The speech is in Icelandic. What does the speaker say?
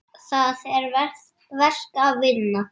Það er verk að vinna.